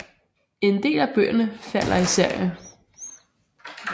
En del af bøgerne falder i serier